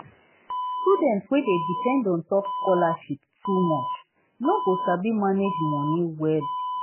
student wey dey depend ontop scholarship too much no go sabi manage money well.